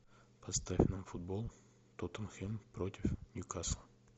поставь нам футбол тоттенхэм против ньюкасла